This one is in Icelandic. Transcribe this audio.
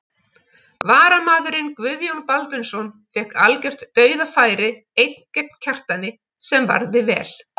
Varamaðurinn Guðjón Baldvinsson fékk algjört dauðafæri einn gegn Kjartani sem varði vel.